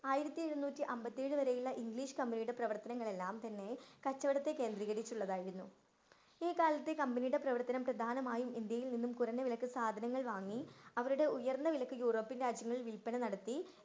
ആയിരത്തിയേഴുന്നൂറ്റി അമ്പത്തിയേഴ് വരെയുള്ള ഇംഗ്ലീഷ് കമ്പനിയുടെ പ്രവർത്തനങ്ങളെല്ലാം തന്നെ കച്ചോടത്തെ കേന്ത്രീകരിച്ചുള്ളതായിരുന്നു. ഈ കാലത്തെ കമ്പനിയുടെ പ്രവർത്തനം പ്രധാനമായും ഇന്ത്യയിൽ നിന്നും കുറഞ്ഞ വിലക്ക് സാധനങ്ങൾ വാങ്ങി അവരുടെ ഉയർന്ന വിലക്ക് യൂറോപ്പ്യൻ രാജ്യങ്ങളിൽ വിൽപ്പന നടത്തി.